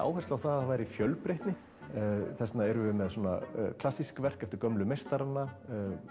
áherslu á það að það væri fjölbreytni þess vegna erum við með svona klassísk verk eftir gömlu meistarana